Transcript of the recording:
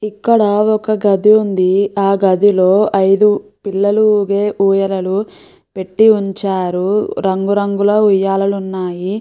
ఇక్కడ ఒక గది ఉంది. ఆ గదిలో ఐదు పిల్లలు ఊగే ఊయలలు పెట్టి ఉంచారు. రంగురంగుల ఉయ్యాలలు ఉన్నాయి.